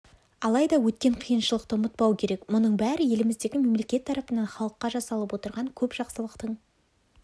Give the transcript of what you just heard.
алайда өткен қиыншылықты ұмытпау керек мұның бәрі еліміздегі мемлекет тарапынан халыққа жасалып отырған көп жақсылықтың